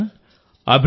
మిత్రులారా